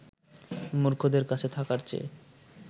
মূর্খদের কাছে থাকার চেয়ে